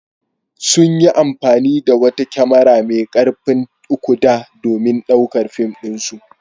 Sun yi amfani da wata kyamara mai ƙarfin 3-D domin ɗaukar fim ɗinsu.